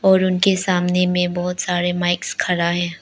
और उनके सामने में बहुत सारे माइक्स खड़ा है।